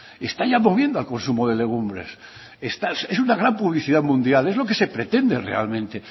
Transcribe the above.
está ya moviendo al consumo de legumbres es una gran publicidad mundial es lo que se pretende realmente